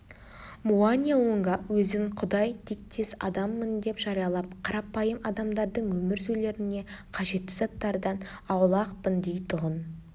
муани-лунга өзін құдай тектес адаммын деп жариялап қарапайым адамдардың өмір сүрулеріне қажетті заттардан аулақпын дейтұғын